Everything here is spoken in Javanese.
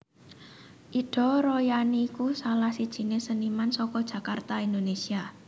Ida Royani iku salah sijiné séniman saka Jakarta Indonèsia